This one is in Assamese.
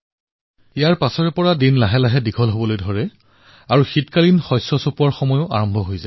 ইয়াৰ পিছত ধীৰে ধীৰে দিন দীঘল হয় আৰু শীতকালীন শস্য চপোৱাৰ সময় হয়